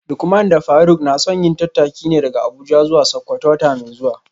Lukman da Faruk na son yin tattaki ne daga Abuja zuwa Sakkwato wata mai zuwa